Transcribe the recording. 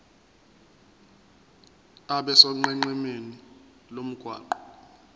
abe sonqenqemeni lomgwaqo